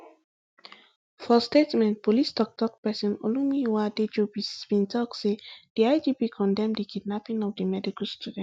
for statement police toktok pesin olumiyiwa adejobi bin tok say di igp condemn di kidnapping of di medical students